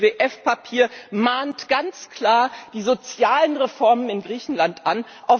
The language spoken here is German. Das IWF Papier mahnt ganz klar die sozialen Reformen in Griechenland an.